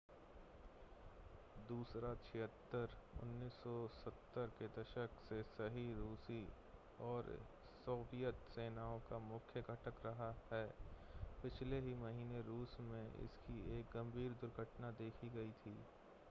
il-76 1970 के दशक से ही रूसी और सोवियत सेनाओं का मुख्य घटक रहा है पिछले ही महीने रूस में इसकी एक गंभीर दुर्घटना देखी गई थी